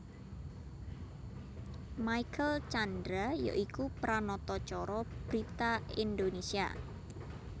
Michael Tjandra ya iku Pranata Cara brita Indonésia